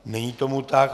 Není tomu tak.